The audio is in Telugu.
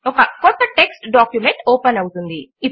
ఒక క్రొత్త టెక్స్ట్ డాక్యుమెంట్ ఓపెన్ అవుతుంది